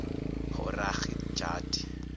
horhagidgadi